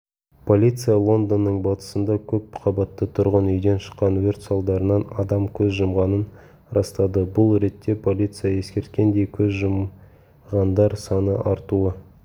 полиция лондонның батысында көпқабатты тұрғын үйден шыққан өрт салдарынан адам көз жұмғанын растады бұл ретте полиция ескерткендей көз жұмғандар саны артуы